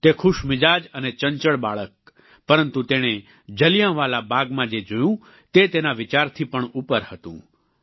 તે ખુશમિજાજ અને ચંચળ બાળક પરંતુ તેણે જલિયાંવાલા બાગમાં જે જોયું તે તેના વિચારથી પણ ઉપર હતું